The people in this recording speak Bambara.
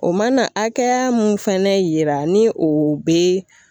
O mana hakɛya mun fɛnɛ yira ni o bɛ